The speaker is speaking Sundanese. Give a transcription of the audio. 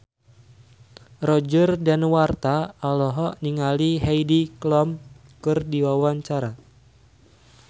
Roger Danuarta olohok ningali Heidi Klum keur diwawancara